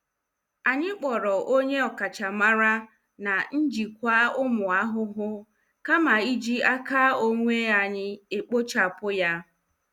Anyị kpọrọ onye ọkachamara na njikwa ụmụ ahụhụ kama iji aka onwe anyị ekpochapụ ya.